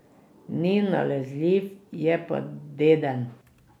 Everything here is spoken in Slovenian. Ni nalezljiv, je pa deden.